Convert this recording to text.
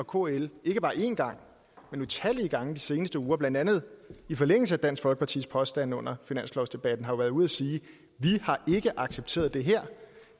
kl ikke bare én gang men utallige gange i de seneste uger blandt andet i forlængelse af dansk folkepartis påstand under finanslovsdebatten har været ude at sige vi har ikke accepteret det her